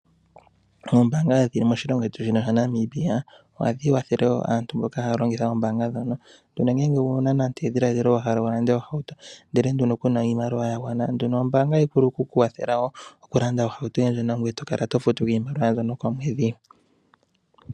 Oombaanga dhili moshilongo shetu shino shaNamibia ohadhi kwathelewo aantu mboka haya longitha oombanga ndhono. Ndhono ngele owuna nande edhiladhilo wahala okulanda ohauto ndele nduno kuna iimaliwa yagwana nduno ombaanga ohayi vulu okukukwathela wo okulanda ohauto yoye ndjono, ngoye tokala tofutu ko iimaliwa mbyono komwedhi.